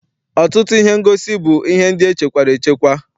Ọtụtụ ihe ngosi bụ ihe ndị echekwara echekwa.